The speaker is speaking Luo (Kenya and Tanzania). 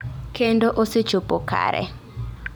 Kendo osechopo kare.